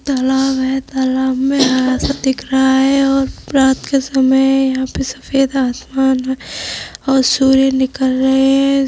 तालाब है तालाब में हरा सा दिख रहा है और रात के समय है और यहां पे सफेद आसमान और सूर्य निकल रहै है।